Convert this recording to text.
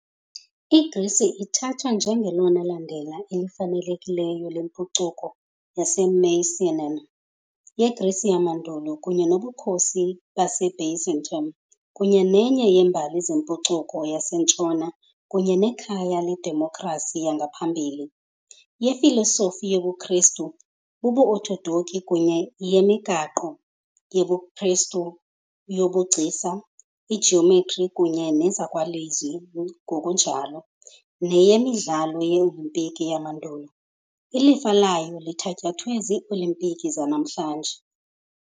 IGrisi ithathwa njengelona landela lifanelekileyo lempucuko yaseMycenaean, yeGrisi yamandulo kunye noBukhosi baseByzantium, kunye nenye yeembali zempucuko yaseNtshona kunye nekhaya ledemokhrasi yangaphambili , yefilosofi , yobuKristu bobuOthodoki kunye yemigaqo yobuKristu yobugcisa, ijiyometri kunye nezakwalizwi ngokunjalo neyeMidlalo ye - Olimpiki yamandulo, ilifa layo lithatyathwe ziiOlimpiki zanamhlanje .